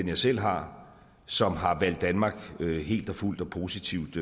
jeg selv har som har valgt danmark helt og fuldt og positivt